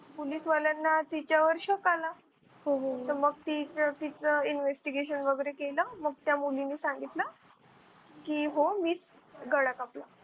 Police वाल्यांना तिच्यावर शक आला तर मग तिच investigation वगैरे केलं मग त्या मुलींनी सांगितलं कि हो मीच गळा कापला.